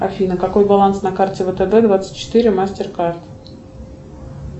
афина какой баланс на карте втб двадцать четыре мастер карт